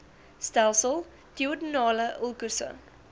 stelsel duodenale ulkusse